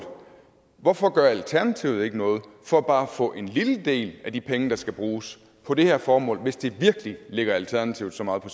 hvorfor gør alternativet ikke noget for bare at få en lille del af de penge der skal bruges på det her formål hvis det virkelig ligger alternativet så meget på